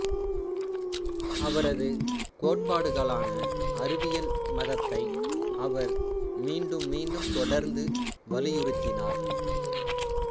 அவரது கோட்பாடுகளான அறிவியல் மதத்தை அவர் மீண்டும் மீண்டும் தொடர்ந்து வலியுறித்தினார்